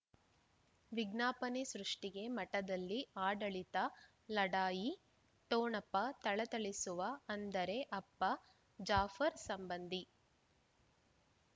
ವಿಜ್ಞಾಪನೆ ಸೃಷ್ಟಿಗೆ ಮಠದಲ್ಲಿ ಆಡಳಿತ ಲಢಾಯಿ ಠೊಣಪ ಥಳಥಳಿಸುವ ಅಂದರೆ ಅಪ್ಪ ಜಾಫರ್ ಸಂಬಂಧಿ